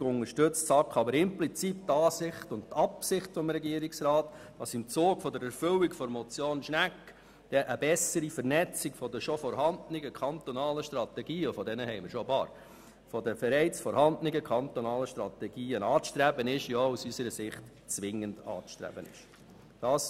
Gleichzeitig unterstützt die SAK implizit die Ansicht und die Absicht des Regierungsrats, dass im Zug der Erfüllung der Motion Schnegg eine bessere Vernetzung der bereits vorhandenen kantonalen Strategien – und solche gibt es einige – anzustreben sei, aus unserer Sicht sogar zwingend anzustreben ist.